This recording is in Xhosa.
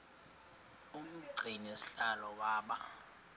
umgcini sihlalo waba